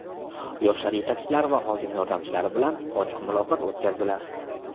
yoshlar yetakchilari va hokim yordamchilari bilan ochiq muloqot o‘tkazdilar.